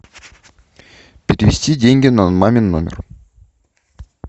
перевести деньги на мамин номер